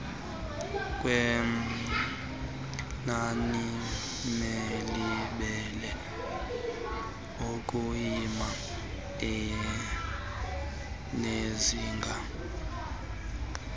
kwenaniebelimele ukuyima enezinga